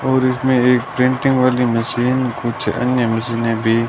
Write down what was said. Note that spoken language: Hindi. और इसमें एक प्रिंटिंग वाली मशीन कुछ अन्य मशीने भी--